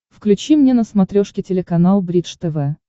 включи мне на смотрешке телеканал бридж тв